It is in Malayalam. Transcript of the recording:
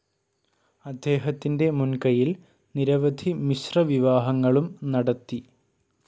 അദ്ദേഹത്തിൻ്റെ മുൻ കയ്യിൽ നിരവധി മിശ്ര വിവാഹങ്ങളും നടത്തി.